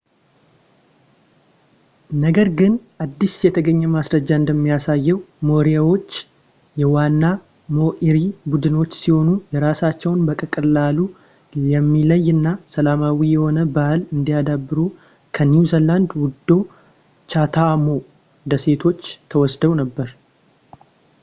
ነገር ግን አዲስ የተገኘ ማስረጃ እንደሚያሳየው ሞሪኦሪዎች የዋና ማኦሪ ቡድኖች ሲሆኑ የራሳቸውን በቀላሉ የሚለይ እና ሰላማዊ የሆነ ባህል እያዳበሩ ከኒውዚላንድ ውደ ቻታኣም ደሴቶች ተሰደው ነበር